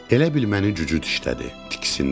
Elə bil məni cücüd dişlədi, tiksindim.